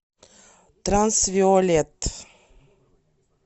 трансвиолет